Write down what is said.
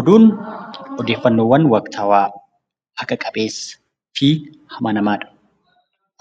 Oduun odeeffannoo waqtaawaa haqa qabeessaa fi amanamaa.